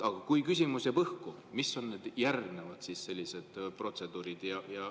Aga kui küsimus jääb õhku, mis on siis need järgmised sellised protseduurid?